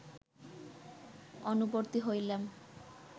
অনুবর্তী হইলাম